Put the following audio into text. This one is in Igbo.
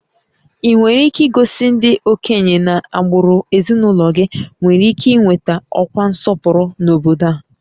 Ị nwere ike igosi ndị okenye na agbụrụ ezinụlọ gị nwere ike ị nweta ọkwa nsọpụrụ n'obodo a?